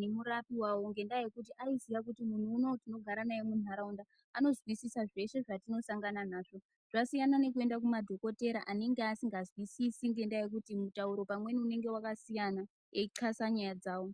nemurapi wawo ngendaya yekuti aiziya kuti munhu unowu tinogara naye muntaraunda anozwisisa zveshe zvatinosangana nazvo zvasiyana nekuenda kumadhokotera anenga asikazwisisi ngendaa yekuti mutauro pamweni unenge wakasiyana eithasa nyaya dzawo.